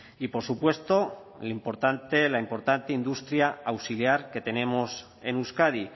y por supuesto la importante industria auxiliar que tenemos en euskadi